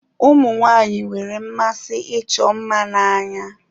Ụmụ nwaanyị nwere mmasi ịchọ mma n'anya.